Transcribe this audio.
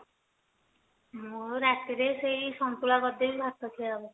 ମୁଁ ରାତିରେ ସେଇ ସନ୍ତୁଳା କରିଦେବି ଭାତ ଖିଆ ହେବ